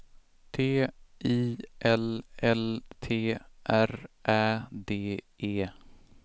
T I L L T R Ä D E